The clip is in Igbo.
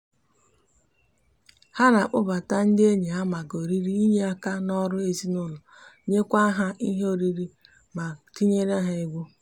ha n'akpobata ndi enyi ha maka oriri inye aka n'oru ezinaulo nyekwa ha ihe oriri ma tinyekwara ha egwu